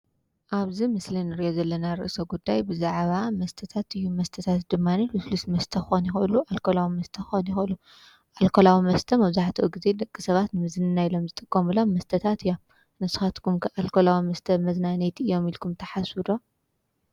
መስተ ልስሉስ ክኾን ይኽእሉ አልኮላዊ መስተ ክኾን ይኽእሉ መብዛሕቲኡ ደቂ ሰብ ንምዝንናይ ኢሎም ዝጥቀምሉ እዮም:: ንስኹምከ አልኮላዊ መስተ መዝናነየ እዮም ኢልኩም ትሓስቡ ዶ ?